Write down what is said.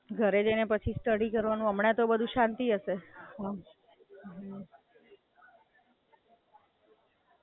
ઘરે જઈને પછી સ્ટડિ કરવાનું હમણાં તો બધુ શાંતિ હશે.